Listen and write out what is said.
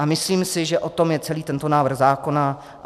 A myslím si, že o tom je celý tento návrh zákona.